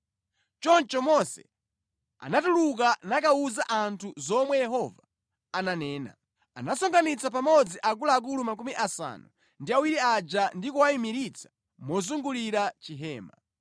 Choncho Mose anatuluka nakawuza anthu zomwe Yehova ananena. Anasonkhanitsa pamodzi akuluakulu makumi asanu ndi awiri aja ndi kuwayimiritsa mozungulira Chihema.